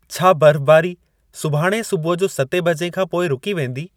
छा बर्फ़बारी सुभाणे सुबुह जो सतें बजे खां पोइ रूकी वेंदी?